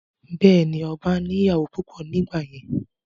Bẹ́ẹ̀ni, ọba ní ìyàwó púpọ̀ ní ìgbà yẹn